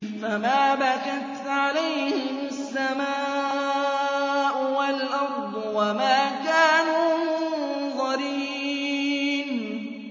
فَمَا بَكَتْ عَلَيْهِمُ السَّمَاءُ وَالْأَرْضُ وَمَا كَانُوا مُنظَرِينَ